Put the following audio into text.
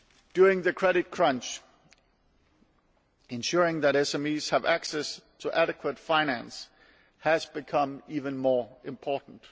During the credit crunch, ensuring that SMEs have access to adequate finance has become even more important.